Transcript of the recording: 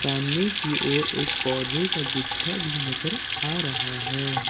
सामने की ओर एक पौधे का गुच्छा भी नजर आ रहा है।